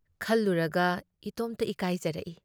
ꯈꯜꯂꯨꯔꯒ ꯏꯇꯣꯝꯇ ꯏꯀꯥꯏꯖꯔꯛꯏ ꯫